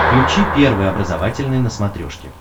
включи первый образовательный на смотрешке